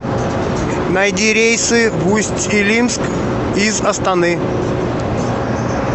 найди рейсы в усть илимск из астаны